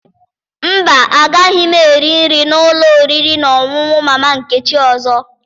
Mba, agaghị m eri nri na ụlọ oriri na ọṅụṅụ Mama Nkechi ọzọ